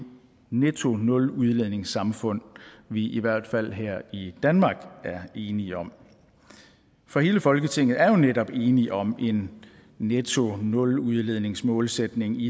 netto nuludledningssamfund vi i hvert fald her i danmark er enige om for hele folketinget er jo netop enig om en netto nuludledningsmålsætning i